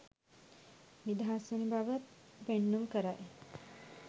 නිදහස්වන බව පෙන්නුම් කරයි.